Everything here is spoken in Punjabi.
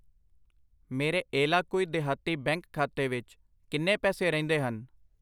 ਮੇਰੇ ਏਲਾਕੁਈ ਦੇਹਾਤੀ ਬੈਂਕ ਖਾਤੇ ਵਿੱਚ ਕਿੰਨੇ ਪੈਸੇ ਰਹਿੰਦੇ ਹਨ?